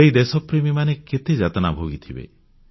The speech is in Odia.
ସେହି ଦେଶପ୍ରେମୀମାନେ କେତେ ଯାତନା ଭୋଗିଥିବେ